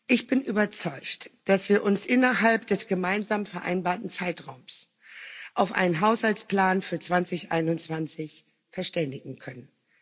Ich bin überzeugt, dass wir uns innerhalb des gemeinsam vereinbarten Zeitraums auf einen Haushaltsplan für 2021 verständigen können.